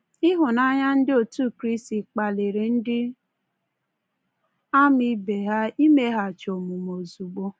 Ịhụnanya ndị otu Kraịst kpaliri ndị ama ibe ha imeghachi omume ozugbo.